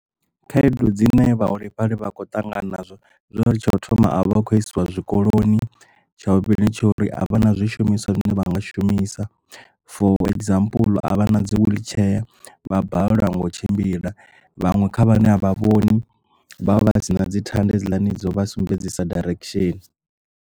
Khaedu dzine vhaholefhali vha kho ṱangana nazwo zwori tsha u thoma a vha khou isiwa zwikoloni tsha vhuvhili ndi tsha uri a vha na zwishumiswa zwine vha nga shumisa for example a vha na dzi wheelchair vha balelwa ngo tshimbila vhaṅwe kha vhane a vha vhoni vhavha vhasina dzi thanda hedziḽani dzo vha sumbedzisa direction.